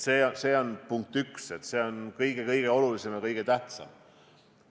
See on punkt 1, see on kõige-kõige olulisem, kõige tähtsam.